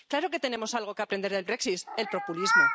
Claro que tenemos algo que aprender del Brexit el populismo.